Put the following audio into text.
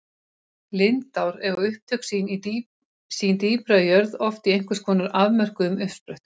Lindár eiga upptök sín dýpra í jörð, oft í einhvers konar afmörkuðum uppsprettum.